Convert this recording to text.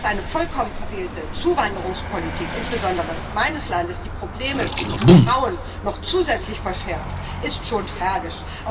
Aber dass eine vollkommen verfehlte Zuwanderungspolitik insbesondere meines Landes die Probleme für Frauen noch zusätzlich verschärft, ist schon tragisch.